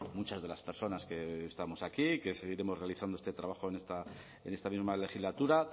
muchas de las personas que hoy estamos aquí que seguiremos realizando este trabajo en esta misma legislatura